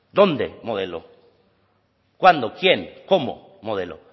dónde modelo cuándo quién cómo modelo